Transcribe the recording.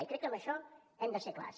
i crec que en això hem de ser clars